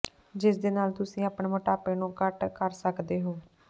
ਜਿਸਦੇ ਨਾਲ ਤੁਸੀ ਆਪਣੇ ਮੋਟਾਪੇ ਨੂੰ ਘੱਟ ਕਰ ਸਕਦੇ ਹੋ